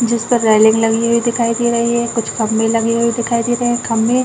जिस पर रेलिंग लगी हुई दिखाई दे रही है कुछ खम्बे लगे हुए दिखाई दे रहे है खम्बे --